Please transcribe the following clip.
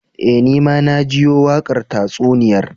Eh, Ni ma na jiyo wakar tatsuniyar